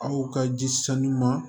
Aw ka ji sanu ma